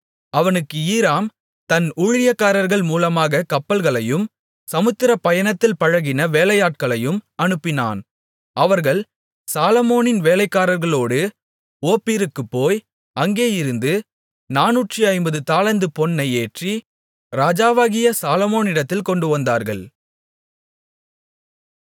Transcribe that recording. அவனுக்கு ஈராம் தன் ஊழியக்காரர்கள் மூலமாகக் கப்பல்களையும் சமுத்திரப் பயணத்தில் பழகின வேலையாட்களையும் அனுப்பினான் அவர்கள் சாலொமோனின் வேலைக்காரர்களோடு ஓப்பீருக்குப் போய் அங்கேயிருந்து நானூற்று ஐம்பது தாலந்து பொன்னை ஏற்றி ராஜாவாகிய சாலொமோனிடத்தில் கொண்டுவந்தார்கள்